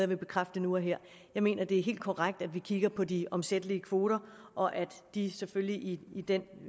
vil bekræfte nu og her jeg mener at det er helt korrekt at vi kigger på de omsættelige kvoter og at de selvfølgelig i den